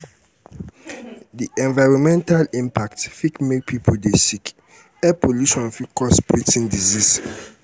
di environmental impact fit make pipo dey sick air pollution fit cause breathing disease